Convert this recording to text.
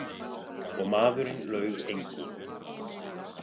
Og maðurinn laug engu.